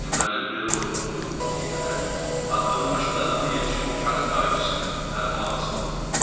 Deməli belə oldu, deyərək addımbaşı dadıma yetişən kağız qayçısını əlimə alası oldum.